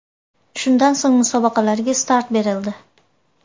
Shundan so‘ng musobaqalarga start berildi.